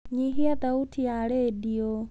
Nyihia thauti ya redio.